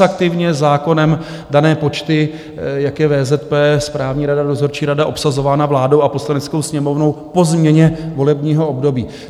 Taxativně zákonem dané počty, jak je VZP, správní rada, dozorčí rada obsazována vládou a Poslaneckou sněmovnou po změně volebního období.